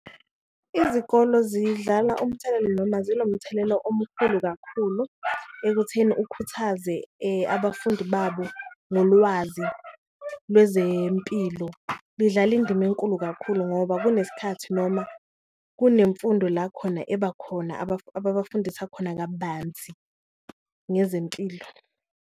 Izikolo zidlala umthelelo noma zinomthelelo omkhulu kakhulu ekutheni ukhuthaze abafundi babo ngolwazi lwezempilo, lidlala indima enkulu kakhulu ngoba kunesikhathi noma kunemfundo la khona eba khona ababafundisa khona kabanzi ngezempilo.